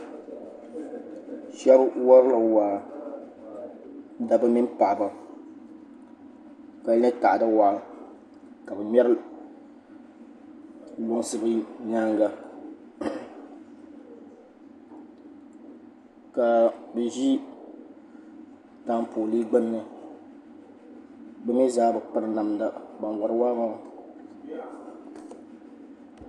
shɛbi warila waa daba mini paɣiba be warila taɣida waa ka be ŋmɛri luŋsi be nyɛŋa ka ʒɛ tapoli gbani be mi zaa be pɛri namida waama